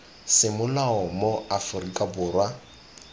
semolao mo aforika borwa ke